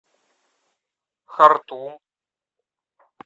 хартум